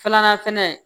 Filanan fɛnɛ